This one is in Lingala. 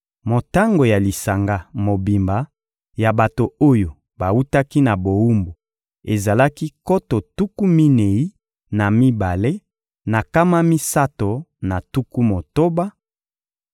Motango ya lisanga mobimba ya bato oyo bawutaki na bowumbu ezalaki nkoto tuku minei na mibale na nkama misato na tuku motoba,